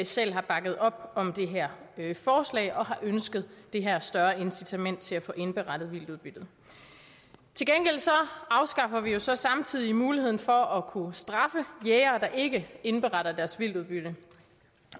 selv har bakket op om dette forslag og har ønsket det her større incitament til at få indberettet vildtudbyttet til gengæld afskaffer vi jo så samtidig muligheden for at kunne straffe jægere der ikke indberetter deres vildtudbytte